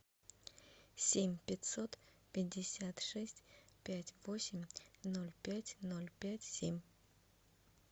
семь пятьсот пятьдесят шесть пять восемь ноль пять ноль пять семь